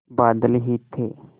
बादल ही थे